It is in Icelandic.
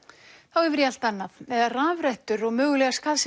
þá yfir í allt annað eða rafrettur og mögulega skaðsemi